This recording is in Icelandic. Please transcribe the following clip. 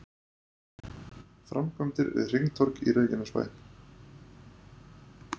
Framkvæmdir við hringtorg í Reykjanesbæ